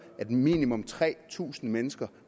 at minimum tre tusind mennesker